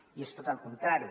i és tot el contrari